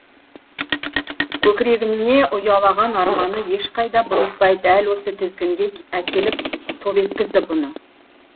көкірегіне ұялаған арманы ешқайда бұрылтпай дәл осы тізгінге әкеліп топ еткізді бұны